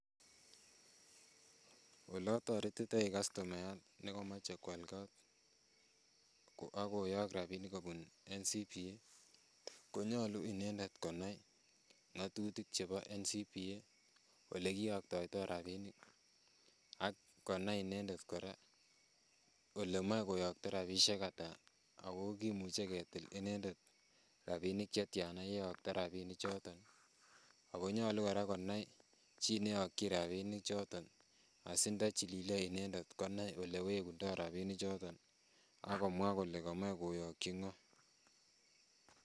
Oletoretitoi kastomayat nekomoche koal kot akoyok rapinik kobun National Commercial Bank of Africa ko nyolu inendet konai ng'otutik chebo National Commercial Bank of Africa olekiyoktoitoo rapinik ak konai inendet kora kole moe koyokto rapisiek ata ako kimuche ketil inendet rapinik chetyana yeyokto rapinik choton ako nyolu kora konai chi neyokyin rapinik choton asi ndo chilile inendet konai elewekundoo rapinik choton akomwaa kole komoe koyokyi ng'oo